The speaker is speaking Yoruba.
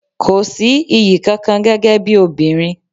Kò sí iyì kankan gẹ́gẹ́ bí obìnrin.